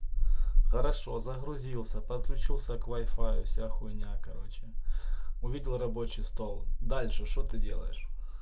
хорошо загрузился подключился к вай-фаю вся хуйня короче увидел рабочий стол дальше что ты делаешь